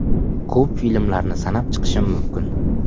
Ko‘p filmlarni sanab chiqishim mumkin.